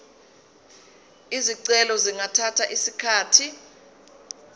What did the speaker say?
izicelo zingathatha isikhathi